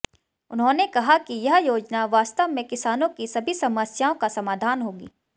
उन्होंने कहा कि यह योजना वास्तव में किसानों की सभी समस्याओं का समाधान होगी